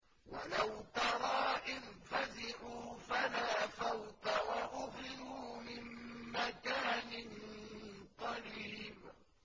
وَلَوْ تَرَىٰ إِذْ فَزِعُوا فَلَا فَوْتَ وَأُخِذُوا مِن مَّكَانٍ قَرِيبٍ